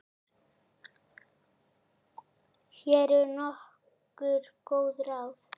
Hér eru nokkur góð ráð.